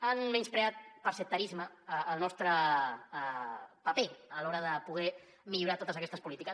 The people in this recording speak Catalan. han menyspreat per sectarisme el nostre paper a l’hora de poder millorar totes aquestes polítiques